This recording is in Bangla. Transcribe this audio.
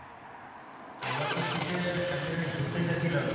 তা এইবার তো শীতে এক জায়গায় ঘুরতে গেছিলাম।